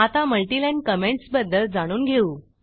आता multiline comments बद्दल जाणून घेऊ